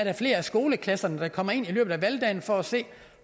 er flere skoleklasser der kommer ind i løbet af valgdagen for at se